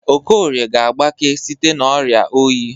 Okorie ga-agbake site n'ọrịa oyi.